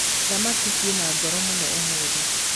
thamaki ciĩna goro muno ũmũthĩ.